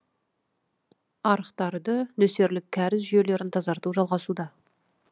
арықтарды нөсерлік кәріз жүйелерін тазарту жалғасуда